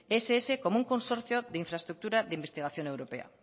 el ess como un consorcio de infraestructura de investigación europea